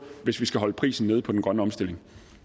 hvis vi skal holde prisen nede på den grønne omstilling